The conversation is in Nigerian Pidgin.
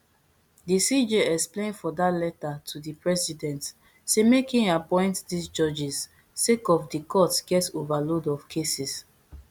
di cj explain for dat letter to di president say make im appoint dis judges sake of di court get overload of cases